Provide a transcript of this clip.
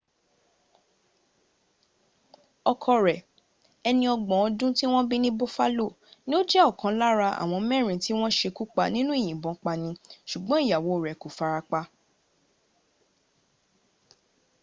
ọkọ rẹ̀ ẹni ọgbọ̀n ọdún tí wọ́n bí ní buffalo ní ó jẹ́ ọ̀kan lára àwọn mẹ́rin tí wọ́n sekúpa nínú ìyìnbọn pani sùgbọ́n ìyàwó rẹ̀ kò fara pa